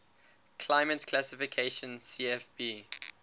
climate classification cfb